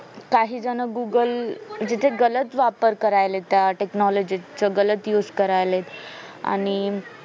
काही जण google जिथे गलत वापर करायलेत त्या technology गलत used करायलेत आणि